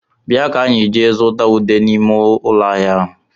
Bịa ka enyi jee zụta ude n'ime ụlọ ahịa ahụ